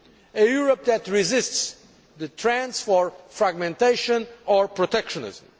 a Europe that resists the trends for fragmentation or protectionism.